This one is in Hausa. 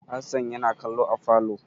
Hassan yana kallo a falo.